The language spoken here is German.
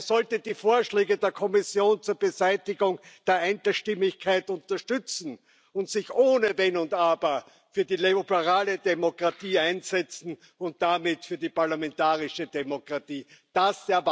Er sollte die Vorschläge der Kommission zur Beseitigung der Einstimmigkeit unterstützen und sich ohne Wenn und Aber für die liberale Demokratie und damit für die parlamentarische Demokratie einsetzen.